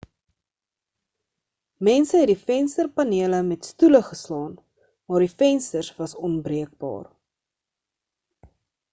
mense het die vensterpanele met stoele geslaan maar die vensters was onbreekbaar